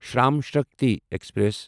Shram Shakti express